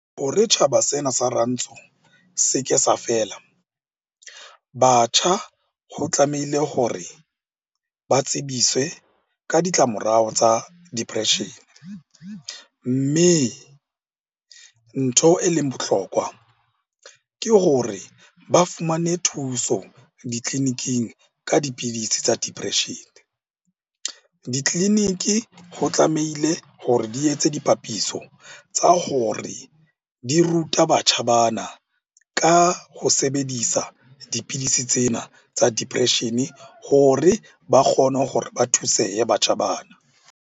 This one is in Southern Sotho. Hore tjhaba sena sa rantsho se ke sa fela. Batjha ho tlamehile hore ba tsebiswe ka ditlamorao tsa depression-e. Mme ntho e leng bohlokwa ke hore ba fumane thuso ditleliniking ka dipidisi tsa depression-e. Ditleliniki ho tlamehile hore di etse tse dipapiso tsa hore di ruta batjha bana ka ho sebedisa dipidisi tsena tsa depression-e hore ba kgone hore ba thusehe batjha bana.